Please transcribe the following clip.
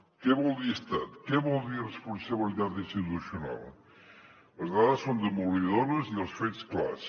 què vol dir estat què vol dir responsabilitat institucional les dades són demolidores i els fets clars